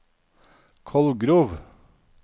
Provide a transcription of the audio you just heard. Kolgrov